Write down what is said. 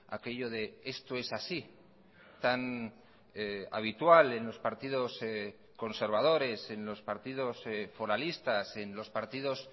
aquello de esto es así tan habitual en los partidos conservadores en los partidos foralistas en los partidos